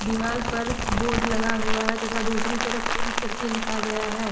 दीवाल पर बोर्ड लगा हुआ है तथा दूसरी तरफ पेंट कर के लिखा गया है।